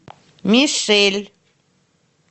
мишель